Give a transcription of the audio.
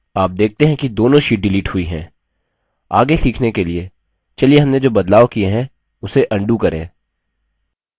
आप देखते हैं कि दोनों sheets डिलीट हुई हैं आगे सीखने के लिए चलिए हमने जो बदलाव किए है उसे अन्डू करें